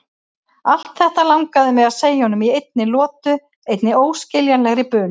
Allt þetta langaði mig að segja honum í einni lotu, einni óskiljanlegri bunu.